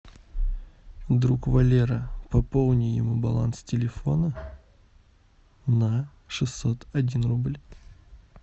друг валера пополни ему баланс телефона на шестьсот один рубль